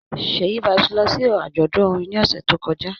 Ṣèyí Vibez lọ sí àjọ̀dún orin ní ọ̀sẹ̀ tó kọjá